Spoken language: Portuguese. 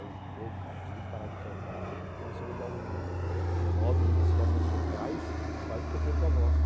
Aí, pô, cara, tive que parar de cantar, porque começou a me dar um nódulo nas cordas vocais, quase que eu perco a voz.